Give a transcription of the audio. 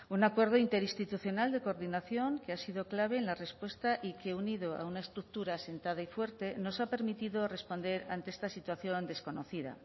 un acuerdo interinstitucional de coordinación que ha sido clave en la respuesta y que unido a una estructura asentada y fuerte nos ha permitido responder ante esta situación desconocida